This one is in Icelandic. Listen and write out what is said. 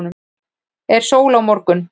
er sól á morgun